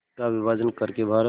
का विभाजन कर के भारत